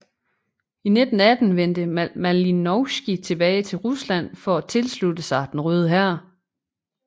I 1918 vendte Malinovskij tilbage til Rusland for at tilslutte sig Den Røde Hær